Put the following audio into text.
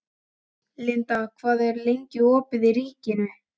Linda, hvað er lengi opið í Ríkinu?